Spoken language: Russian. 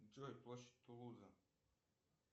джой площадь тулуза